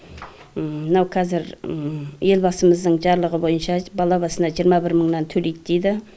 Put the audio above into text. мынау қазір елбасымыздың жарлығы бойынша бала басына жиырма бір мыңнан төлейді дейді